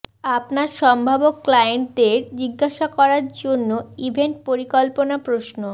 আপনার সম্ভাব্য ক্লায়েন্টদের জিজ্ঞাসা করার জন্য ইভেন্ট পরিকল্পনা প্রশ্ন